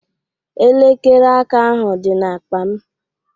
Elekere aka ahụ dị n'akpa m